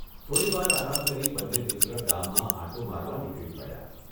થોડીવાર આરામ કરી બંને મિત્ર ગામમાં આંટો મારવા નીકળી પડ્યા.